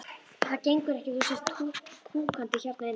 Það gengur ekki að þú sért húkandi hérna inni.